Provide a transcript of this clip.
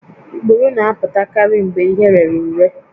Ikpuru na-apụtakarị mgbe ihe rere ure